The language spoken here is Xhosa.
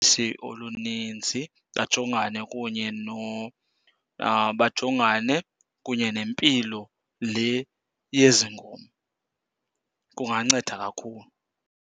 oluninzi bajongane kunye , bajongane kunye nempilo le yezi nkomo. Kunganceda kakhulu.